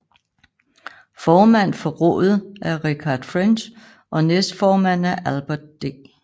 Formand for rådet er Richard French og næstformand er Albert D